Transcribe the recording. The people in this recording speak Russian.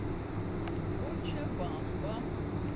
кочабамба